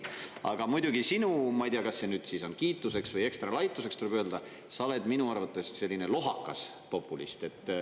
Aga muidugi sinu, ma ei tea, kas see nüüd siis on kiituseks või ekstra laituseks, tuleb öelda, sa oled minu arvates selline lohakas populist.